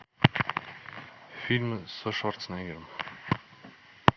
фильм со шварценеггером